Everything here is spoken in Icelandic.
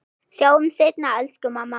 Sjáumst seinna elsku mamma mín.